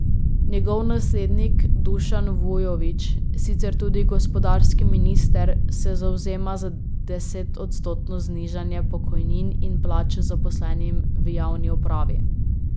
Njegov naslednik Dušan Vujović, sicer tudi gospodarski minister, se zavzema za desetodstotno znižanje pokojnin in plač zaposlenim v javni upravi.